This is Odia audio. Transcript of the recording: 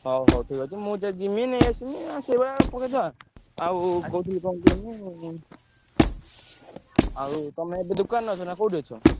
ହଉ ହଉ ଠିକ୍ ଅଛି। ମୁଁ ଯଦି ଯିମି ନେଇଆସିବି ସେଇଭଳିଆ ପକେଇଥିବା। ଆଉ କହୁଥିଲି କଣ କୁହନି ଆଉ ତମେ ଏବେ ଦୋକାନରେ ଅଛ ନା କୋଉଠି ଅଛ?